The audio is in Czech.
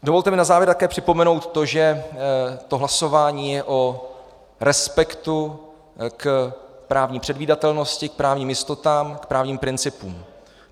Dovolte mi na závěr také připomenout to, že to hlasování je o respektu k právní předvídatelnosti, k právním jistotám, k právním principům.